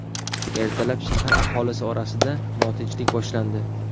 Ertalab shahar aholisi orasida notinchlik boshlandi.